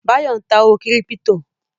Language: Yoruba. Báyọ̀ ń ta owó kírípítò